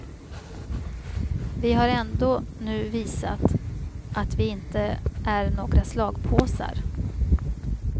Vi har ändå nu visat att vi inte är några slagpåsar.